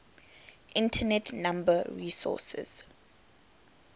internet number resources